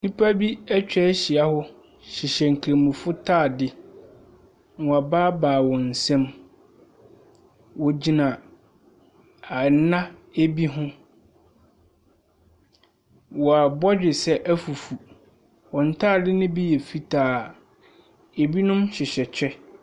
Nnipa bi atwa ahyia hɔ hyehyɛ nkramofoɔ ntadeɛ. Wɔabaabae wɔn nsam. Wɔgyina a ɛnna bi ho. Wɔn abɔdwesɛ afufu. Wɔn ntadeɛ no bi yɛ fitaa. Binom hyehyɛ kyɛ.